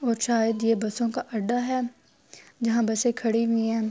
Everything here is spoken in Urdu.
اور شاید یہ بسو کا ادا ہے۔ جہاں بیس کھڈی ہوئی ہے۔